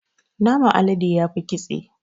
Naman alade yafi ƙitse.